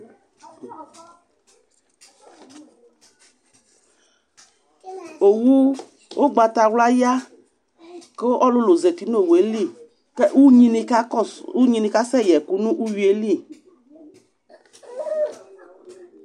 Owu ʋgbatawla ya kʋ ɔlʋlʋ zati nʋ owu yɛ li, k ugnini ka kɔsʋ, ugnini kasɛ yɛkʋ n'ʋƒuo yɛ li